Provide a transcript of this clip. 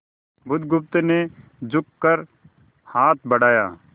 बुधगुप्त ने झुककर हाथ बढ़ाया